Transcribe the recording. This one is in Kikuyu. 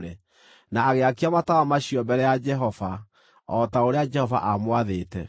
na agĩakia matawa macio mbere ya Jehova, o ta ũrĩa Jehova aamwathĩte.